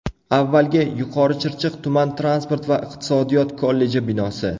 Avvalgi Yuqorichirchiq tuman transport va iqtisodiyot kolleji binosi.